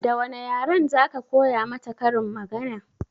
Da wane yaren za ka koya mata karin magana?